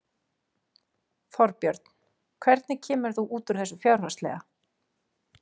Þorbjörn: Hvernig kemur þú út úr þessu fjárhagslega?